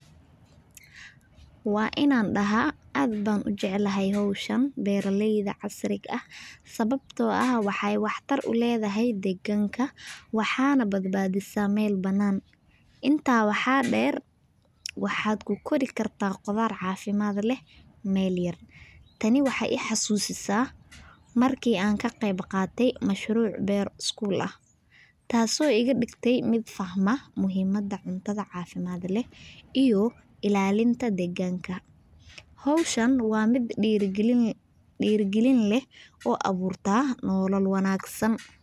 Waanan dhahaa aad baan u jeclahay hawshan beeraleyda ah ee casriga ah, sababtoo ah waxay waxtar u leedahay deegaanka, waxayna baddisaa meel bannaan. Intaa waxaa dheer, waxaa ku kori kartaa qudaar caafimaad leh meel yar. Tani waxay i xasuusisaa markii aan ka qeyb qaatay mashruuc beer ah oo school ahaa, taasoo iga dhigtay mid fahma muhiimada cuntada caafimaad leh iyo ilaalinta deegaanka. Hawshan waa mid dhiirrigelin leh oo abuurta nolol wanaagsan.